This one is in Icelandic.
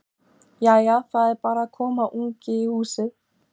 Jæja. það er bara að koma ungi í húsið!